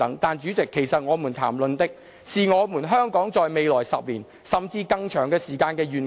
但主席，其實我們談論的，是香港在未來10年，甚至更長時間的一個願景。